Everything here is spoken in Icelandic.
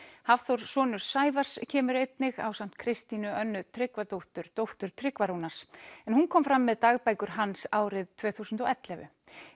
Hafþór sonur Sævars kemur einnig ásamt Kristínu Önnu Tryggvadóttur dóttur Tryggva Rúnars en hún kom fram með dagbækur hans árið tvö þúsund og ellefu